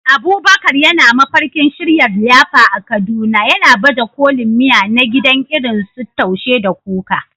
Abubakar yana mafarkin shirya liyafa a Kaduna, yana baje kolin miya na gida irin su Taushe da Kuka.